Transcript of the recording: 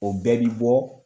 O bɛɛ b bi bɔ